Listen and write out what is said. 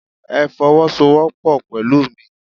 Ẹ fowosowopo pẹ̀lú mi!